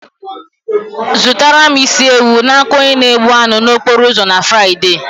Zụrụtara m isi ewu n'aka onye na egbh anụ nno na okporo ụzọ na Fraịde.